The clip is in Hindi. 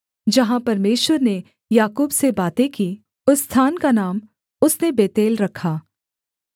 जहाँ परमेश्वर ने याकूब से बातें की उस स्थान का नाम उसने बेतेल रखा